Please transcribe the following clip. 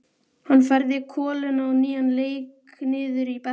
Hann færði koluna á nýjan leik niður í bekkinn.